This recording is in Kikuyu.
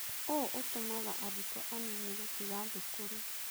ũũ ũtũmaga arutwo anini gũtiga thukuru.